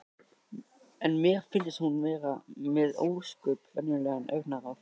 En mér finnst hún nú vera með ósköp venjulegt augnaráð.